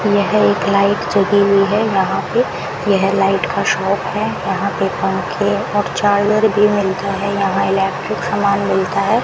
यह एक लाइट जली हुई है यहां पे यह लाइट का शॉप है यहां पे पंखे और चार्जर भी मिलता है यहां इलेक्ट्रिक सामान मिलता है।